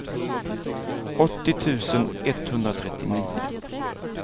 åttio tusen etthundratrettionio